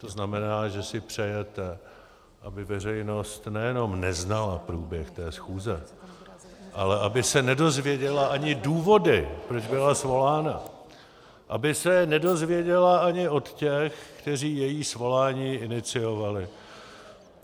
To znamená, že si přejete, aby veřejnost nejenom neznala průběh té schůze, ale aby se nedozvěděla ani důvody, proč byla svolána, aby se nedozvěděla ani od těch, kteří její svolání iniciovali.